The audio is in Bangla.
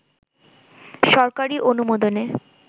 সরকারি অনুমোদনে